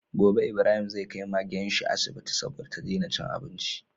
Gobe Ibrahim zai kai Magenshi asibiti saboda ta dena cin abinci